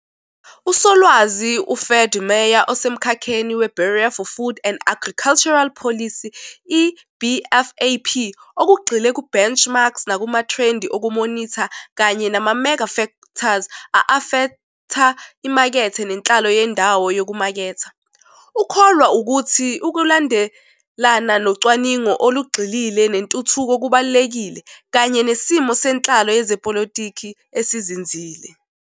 USolwazi u-Ferdi Meyer osemkhakheni we-Bureau for Food and Agricultural Policy, i-BFAP, okugxile ku-benchmarks nakumathrendi okumonitha kanye 'nama-mega-factors' a-afetha imakethe nenhlalo yendawo yokumaketha. Ukholwa ukuthi ukulandelana nocwaningo olugxilile nentuthuko kubalulekile, kanye nesimo senhlalo yezepolitiki esizinzile.